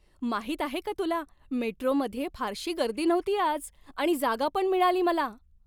माहीत आहे का तुला, मेट्रोमध्ये फारशी गर्दी नव्हती आज आणि जागा पण मिळाली मला?